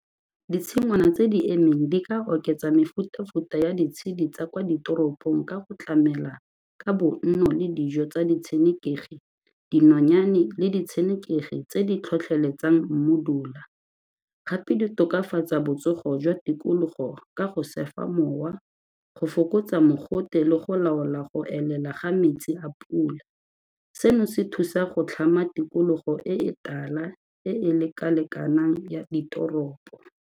Ditshingwana tse di emeng di ka oketsa mefuta-futa ya ditshedi tsa kwa ditoropong ka go tlamela ka bonno le dijo tsa ditshenekegi, dinonyane le ditshenekegi tse di tlhotlheletsang mmodula, gape di tokafatsa botsogo jwa tikologo ka go mowa go fokotsa mogote le go laola go elela ga metsi a pula. Seno se thusa go tlhama tikologo e e tala e e leka-lekanang ya ditoropo.